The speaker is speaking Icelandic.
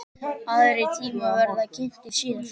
Aðrir tímar verða kynntir síðar.